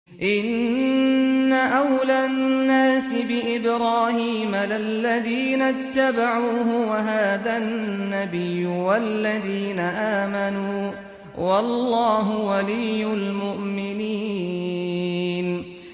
إِنَّ أَوْلَى النَّاسِ بِإِبْرَاهِيمَ لَلَّذِينَ اتَّبَعُوهُ وَهَٰذَا النَّبِيُّ وَالَّذِينَ آمَنُوا ۗ وَاللَّهُ وَلِيُّ الْمُؤْمِنِينَ